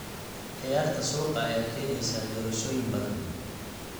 Ciyaarta suuqa ayaa keeneysa doorashooyin badan.